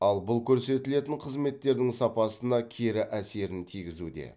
ал бұл көрсетілетін қызметтердің сапасына кері әсерін тигізуде